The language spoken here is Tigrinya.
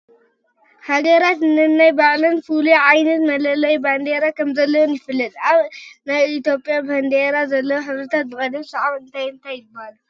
ሃገራት ነናይ ባዕለን ፍሉይ ዓይነት መለለዪ ባንዲራ ከምዘለወን ይፍለጥ፡፡ ኣብ ናይ ኢትዮጽያ ባንዲራ ዘለዉ ሕብርታት ብቕደም ሰዓብ እንታይ እንታይ ይበሃሉ?